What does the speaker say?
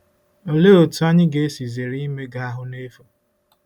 Olee otú anyị ga-esi zere imega ahụ́ n’efu?